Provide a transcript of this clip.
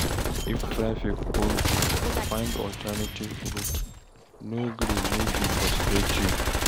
If traffic hold you, find alternative route, no gree make e frustrate you.